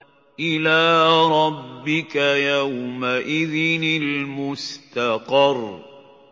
إِلَىٰ رَبِّكَ يَوْمَئِذٍ الْمُسْتَقَرُّ